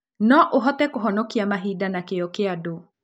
No ũhote kũhonokia mahinda na kĩyo kĩa andũ